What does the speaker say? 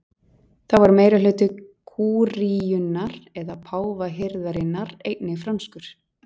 þá var meirihluti kúríunnar eða páfahirðarinnar einnig franskur